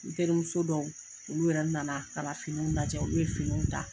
N terimuso dɔw olu yɛrɛ nana ka finiw lajɛ u ye finiw ta.